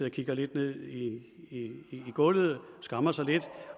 og kigger lidt ned i gulvet og skammer sig lidt